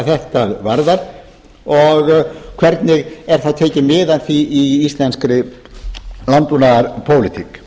hvað þetta varðar og hvernig er þá tekið mið af því í íslenskri landbúnaðarpólitík